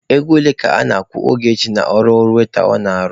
Ego ole ka a na-akwụ Ogechi n'ọrụ waita ọ na-arụ?